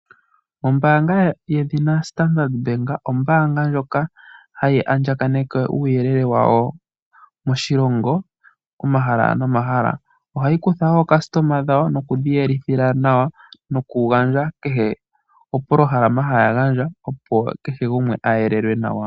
Ombaanga yedhina Standard Bank ombaanga ndjoka hayi andjaganeke uuyelele wayo moshilongo komahala nomahala. Ohayi kutha wo aayakulwa yawo nokuya yelithila nawa nokugandja kehe opolohalama haya gandja, opo kehe gumwe a yelelwe nawa.